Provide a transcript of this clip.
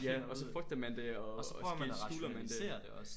Ja så frygter man det og måske skjuler man det